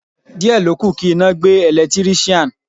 Díẹ̀ ló kù kí iná gbé Ẹ̀lẹ́tíríṣàn.